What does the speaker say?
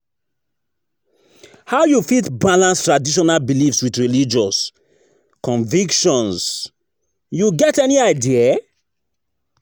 how you fit balance traditional beliefs with religious convictions, you get any idea?